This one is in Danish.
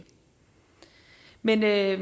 men jeg